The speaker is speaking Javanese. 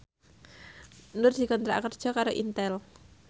Nur dikontrak kerja karo Intel